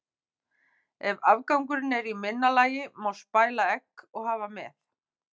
Ef afgangurinn er í minna lagi má spæla egg og hafa með.